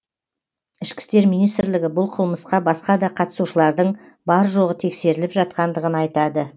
ішкі істер министрлігі бұл қылмысқа басқа да қатысушылардың бар жоғы тексеріліп жатқандығын айтады